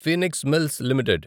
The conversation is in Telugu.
Phoenix Mills limited